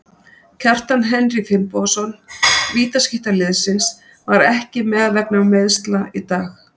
Kjartan Henry Finnbogason, vítaskytta liðsins, var ekki með vegna meiðsla í dag.